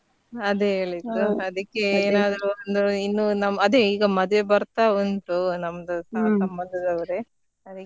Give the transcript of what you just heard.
ಅದೇ ಹೇಳಿದ್ ಅದಕ್ಕೆ ನಾವ್ ಇನ್ನು ಅದೇ ಈಗ ಮದ್ವೆ ಬರ್ತಾ ಉಂಟು ನಮ್ದ ಅದಕ್ಕೆ.